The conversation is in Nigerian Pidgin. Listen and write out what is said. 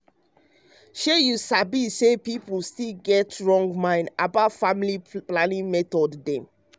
shey you sabi say pipo still get wrong mind umm about family planning method dem.